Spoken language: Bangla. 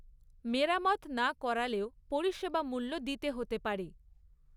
মেরামত না করালেও পরিষেবা মূ্ল্য দিতে হতে পারে।